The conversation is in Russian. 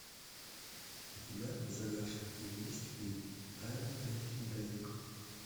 у тебя в загашнике есть фильм тайны фрэнки дрейк